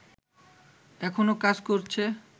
এখনও কাজ করছে